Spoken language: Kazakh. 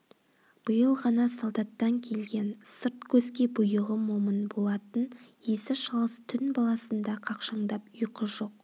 биыл ғана солдаттан келген сырт көзге бұйығы момын болатын есі шалыс түн баласында қақшаңдап ұйқы жоқ